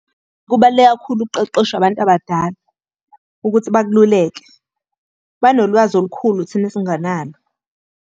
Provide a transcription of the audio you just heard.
Kubaluleke kakhulu ukuqeqeshwa abantu abadala, ukuthi bakululeke. Banolwazi olukhulu thina esingenalo.